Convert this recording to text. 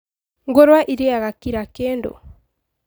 Ngũrwe ĩrĩaga kira kĩndũ